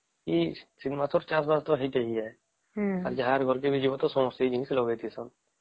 ଶୀତ ମାସ ର ଚାଷ ବାସ ଟା ଏଇଆ ଯାହାର ଘରକେ ଜୀବନ ସମସ୍ତେ ଏଇଆ ଲଗେଇଥିବେନ